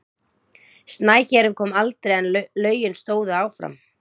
Snæhérinn kom aldrei en lögin stóðu áfram.